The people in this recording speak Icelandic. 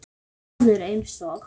Ef maður eins og